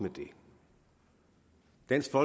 hvis den